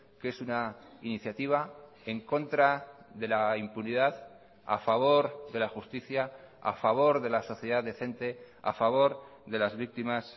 que es una iniciativa en contra de la impunidad a favor de la justicia a favor de la sociedad decente a favor de las víctimas